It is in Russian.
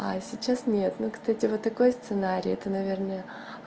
а сейчас нет но кстати вот такой сценарий это наверное